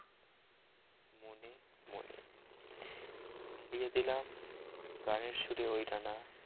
মিলেয়ে দিলাম গানের সুরে ওই ্ডানা